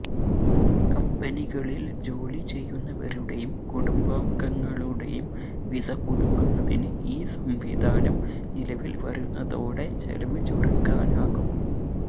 കമ്പനികളില് ജോലി ചെയ്യുന്നവരുടെയും കുടുംബാംഗങ്ങളുടെയും വിസ പുതുക്കുന്നതിന് ഈ സംവിധാനം നിലവില് വരുന്നതോടെ ചെലവ് ചുരുക്കാനാകും